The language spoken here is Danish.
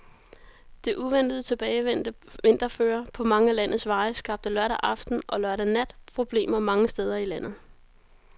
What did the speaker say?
Det uventet tilbagevendte vinterføre på mange af landets veje skabte lørdag aften og lørdag nat problemer mange steder i landet.